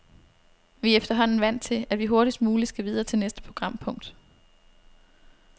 Vi er efterhånden vant til, at vi hurtigst muligt skal videre til næste programpunkt.